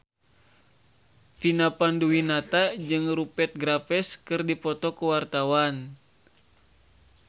Vina Panduwinata jeung Rupert Graves keur dipoto ku wartawan